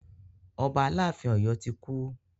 Ọba aláàfin Ọ̀yọ́ ti kú.